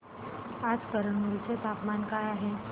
आज कुरनूल चे तापमान काय आहे